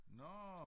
Nå!